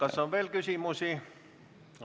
Kas on veel küsimusi?